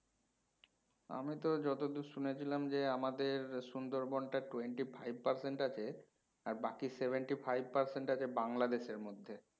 আমি তো যতদূর শুনেছিলাম যে আমাদের সুন্দরবন টা twenty-five percent আছে আর বাকি seventy-five percent আছে বাংলাদেশ এর মধ্যে